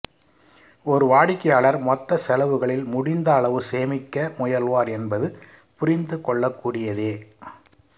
ஒரு வாடிக்கையாளர் மொத்த செலவுகளில் முடிந்த அளவு சேமிக்க முயல்வார் என்பது புரிந்து கொள்ளக் கூடியதே